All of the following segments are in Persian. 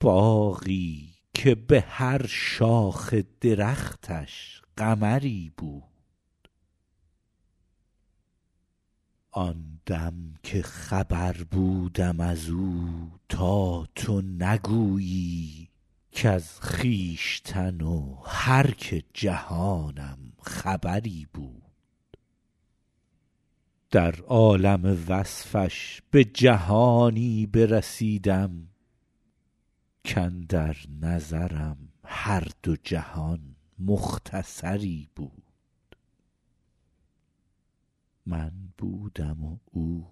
باغی که به هر شاخ درختش قمری بود آن دم که خبر بودم از او تا تو نگویی کز خویشتن و هر که جهانم خبری بود در عالم وصفش به جهانی برسیدم کاندر نظرم هر دو جهان مختصری بود من بودم و او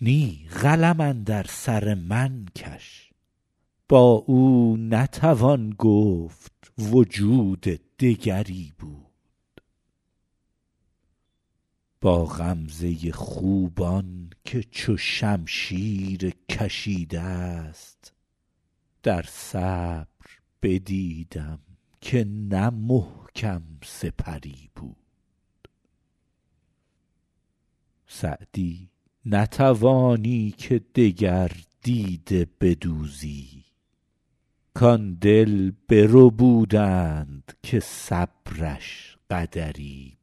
نی قلم اندر سر من کش با او نتوان گفت وجود دگری بود با غمزه خوبان که چو شمشیر کشیده ست در صبر بدیدم که نه محکم سپری بود سعدی نتوانی که دگر دیده بدوزی کآن دل بربودند که صبرش قدری بود